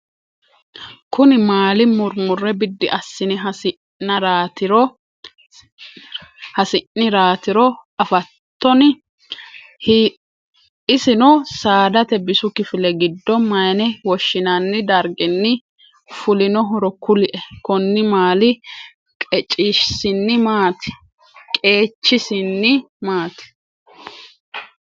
kuni maali murimure bidi assine hisinaratiro afatonni? issino sadate bisu kifile giddo mayine woshinani dargin fulinohoro kulie? konni maali qeechisin maati?